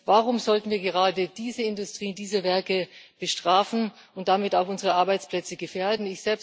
Warum sollten wir gerade diese Industrien, diese Werke bestrafen und damit auch unsere Arbeitsplätze gefährden?